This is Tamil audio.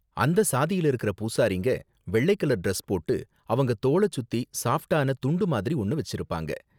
அந்த சாதியில இருக்குற பூசாரிங்க வெள்ளை கலர் டிரஸ் போட்டு, அவங்க தோள சுத்தி சாஃப்ட்டான துண்டு மாதிரி ஒன்ன வெச்சிருப்பாங்க.